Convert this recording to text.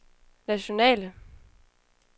nationale